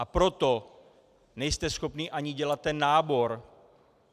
A proto nejste schopni ani dělat ten nábor.